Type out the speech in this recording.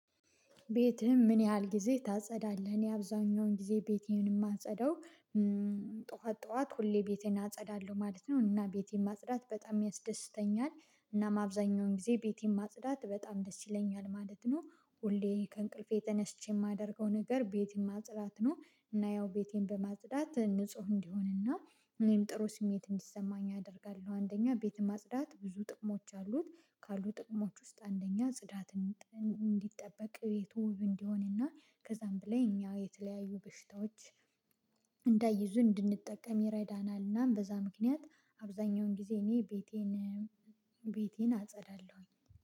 ቤትህን ምን ያህል ጊዜ ታጸዳለህ? እኔ አብዛኛውን ጊዜ ቤቴን ማጸዳው ጠዋት ጠዋት ሁሌ ቤቴን አጸዳለሁ ማለት ነው እና ቤቴን ማጽዳት በጣም ያስደስተኛል እና አብዛኛውን ጊዜ ቤቴን ማጽዳት በጣም ደስ ይለኛል ማለት ነው ሁሌ ከእንቅልፌ ተነስቼ የማደርገው ነገር ቤቴን ማጽዳት ነው እና ያው ቤቴን በማጽዳት ንጹህ እንዲሆንና እኔም ጥሩ ስሜት እንዲሰማኝ አደርጋለሁ። አንደኛ ቤት ማጽዳት ብዙ ጥቅሞች አሉት። ካሉ ጥቅሞች ውስጥ አንደኛ ጽዳት እንዲጠበቅ ቤቱ ውብ እንዲሆንና ከዛም በላይ እኛ የተለያዩ በሽታዎች እንዳይዙን እንድንጠቀም ይረዳናልና በዛ ምክንያት አብዛኛውን ጊዜ እኔ ቤቴን ቤቴን አጸዳለሁኝ።